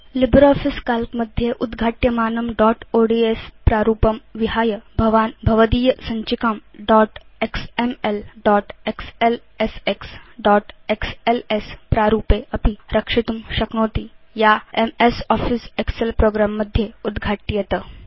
LibreOffice Calc मध्ये उद्घाट्यमानं dot ods प्रारूपं रक्षणं विहाय भवान् भवदीय सञ्चिकां dot XML dot XLSX dot XLS प्रारूपे अपि रक्षितुं शक्नोति या एमएस आफिस एक्सेल प्रोग्रं मध्ये उद्घाट्येत